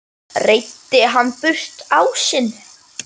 Reiddi hann burt ásinn.